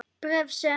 Bréf, sem